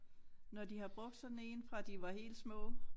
Når de har brugt sådan én fra de var helt små